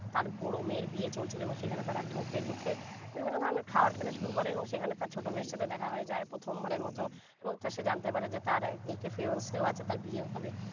তার বড় মেয়ে বিয়ে চলছিলো এবং সেখানে তার ঢোকে ঢোকে বিভিন্ন ধরনের খাবার খেতে শুরু করে এবং সেখানে তার ছোট মেয়ের সাথে দেখা হয়ে যায় প্রথম বারের মত এবং সে জানতে পারে যে তার এক fuse তার বিয়ে হবে